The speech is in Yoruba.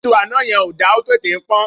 Iṣú àná yẹn ò da, ó tètè ń pọ́n.